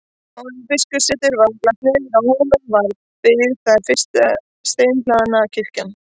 Áður en biskupssetur var lagt niður á Hólum var byggð þar fyrsta steinhlaðna kirkjan.